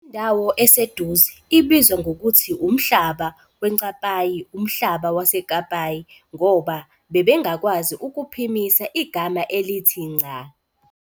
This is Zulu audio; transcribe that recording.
Indawo eseduze ] ibizwa ngokuthi umhlaba weNcapayi, umhlaba waseKapayi - ngoba bebengakwazi ukuphimisa igama elithi "Nca".